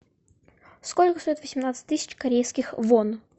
сколько стоит восемнадцать тысяч корейских вон